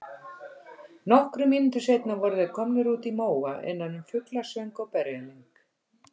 Nokkrum mínútum seinna voru þeir komnir út í móa innan um fuglasöng og berjalyng.